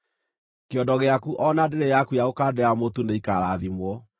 Kĩondo gĩaku o na ndĩrĩ yaku ya gũkandĩra mũtu nĩikarathimwo.